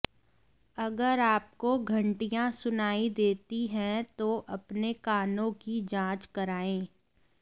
अगर आपको घंटियां सुनाई देती हैं तो अपने कानों की जांच कराएं